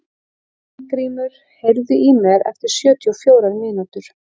Hólmgrímur, heyrðu í mér eftir sjötíu og fjórar mínútur.